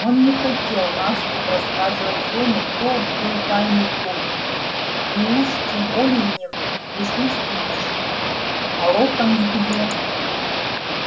он не хотел наспех рассказывать рону кто открыл тайную комнату и уж тем более не в присутствии джинни а локонс где